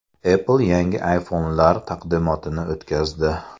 Apple yangi iPhone’lar taqdimotini o‘tkazdi.